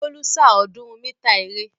Bólú sá ọ̀ọ́dúnrún mítà eré.